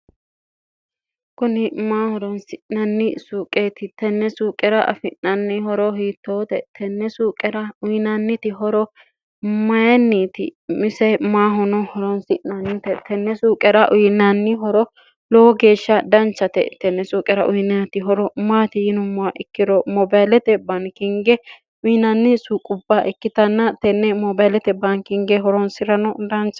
kuni maa horonsi'nanni suuqeeti tenne suuqera afi'nanni horo hiittoote tenne suuqera uyinanniti horo mayinniiti mise maahono horonsi'nannite tenne suuqera uyinanni horo lowo geeshsha danchate tenne suuqera uyinaati horo maati yinummaa ikkiro mobaalete baankinge uyinaanni suuqqubbaa ikkitanna tenne mobaalete baankinge horoonsi'rano dancha